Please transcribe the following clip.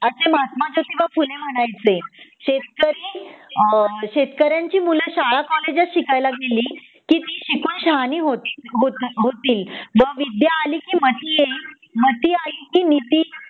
असे महात्मा जोतिबा फुले म्हणायचे शेतकरी अ शेतकऱ्याची मूल शाळा कॉलेजात शिकायला गेली की ती शिकून शहाणी होती होतील व विद्या आली की मती येईल मती आली की नीती